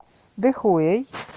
дэхуэй